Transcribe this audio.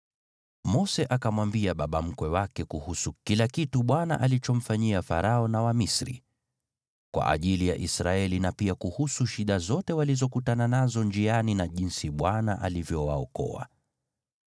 Mose akamwambia baba mkwe wake kuhusu kila kitu Bwana alichomfanyia Farao na Wamisri kwa ajili ya Israeli, na pia kuhusu shida zote walizokutana nazo njiani na jinsi Bwana alivyowaokoa.